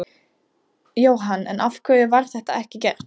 Jóhann: En af hverju var það ekki gert?